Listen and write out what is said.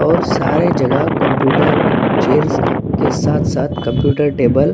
और सारी जगह कंप्यूटर चेयर्स के साथ-साथ कंप्यूटर टेबल --